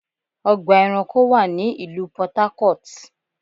Ọgbà ẹranko wà ní ìlú Port Harcourt.